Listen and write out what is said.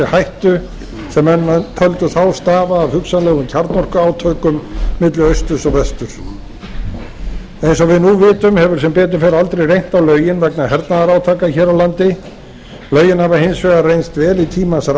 hættu sem menn töldu þá stafa af hugsanlegum kjarnorkuátökum milli austurs og vestur eins og við nú vitum hefur sem betur fer aldrei reynt á lögin vegna hernaðarátaka hér á landi lögin hafa hins vegar reynst vel í tímans rás